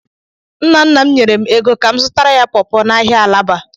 Nna nna m nyere m ego ka m zụtaara ya pọọpọ n'ahịa Alaba.